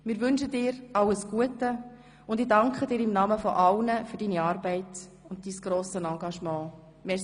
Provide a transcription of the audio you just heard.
Wir wünschen dir alles Gute, und ich danke dir im Namen aller für deine Arbeit und Dienstag (Nachmittag)